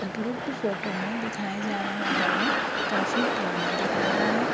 उपरोक्त फोटो में दिखाया जा रहा भवन काफी पुराना दिख रहा है।